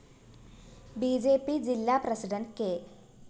B J P ജില്ലാ president K